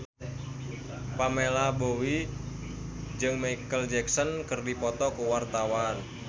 Pamela Bowie jeung Micheal Jackson keur dipoto ku wartawan